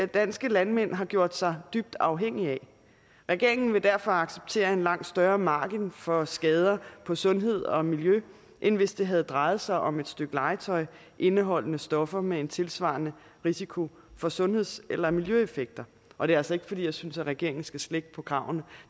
danske landmænd har gjort sig dybt afhængige af regeringen vil derfor acceptere en langt større margin for skader på sundhed og miljø end hvis det havde drejet sig om et stykke legetøj indeholdende stoffer med en tilsvarende risiko for sundheds eller miljøeffekter og det er altså ikke fordi jeg synes at regeringen skal slække på kravene